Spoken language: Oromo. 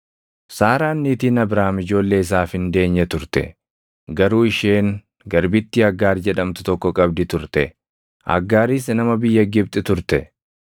Saaraan niitiin Abraam ijoollee isaaf hin deenye turte. Garuu isheen garbittii Aggaar jedhamtu tokko qabdi turte; Aggaaris nama biyya Gibxi turte;